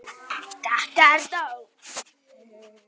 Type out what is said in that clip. ÞETTA ER NÓG!